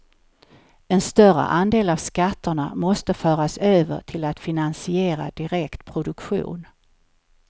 En större andel av skatterna måste föras över till att finansiera direkt produktion.